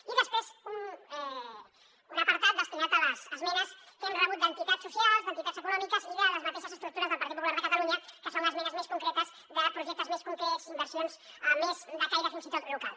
i després un apartat destinat a les esmenes que hem rebut d’entitats socials d’entitats econòmiques i de les mateixes estructures del partit popular de catalunya que són esmenes més concretes de projectes més concrets inversions més de caire fins i tot local